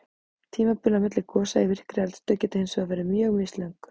Tímabil á milli gosa í virkri eldstöð geta hins vegar verið mjög mislöng.